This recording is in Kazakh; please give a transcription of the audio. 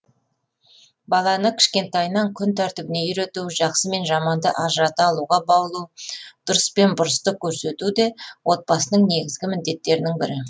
баланы кішкентайынан күн тәртібіне үйрету жақсы мен жаманды ажырата алуға баулу дұрыс пен бұрысты көрсету де отбасының негізгі міндеттерінің бірі